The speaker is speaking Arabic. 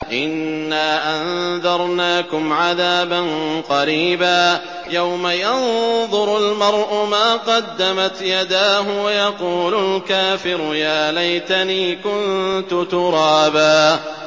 إِنَّا أَنذَرْنَاكُمْ عَذَابًا قَرِيبًا يَوْمَ يَنظُرُ الْمَرْءُ مَا قَدَّمَتْ يَدَاهُ وَيَقُولُ الْكَافِرُ يَا لَيْتَنِي كُنتُ تُرَابًا